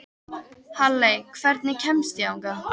Halley, hvernig kemst ég þangað?